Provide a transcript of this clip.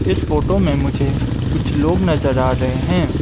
इस फोटो में मुझे कुछ लोग नजर आ रहे हैं।